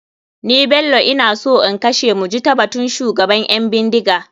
Ni bello ina so in kashe mujitabatun shugaban ƴan bindiga.